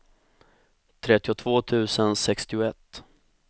trettiotvå tusen sextioett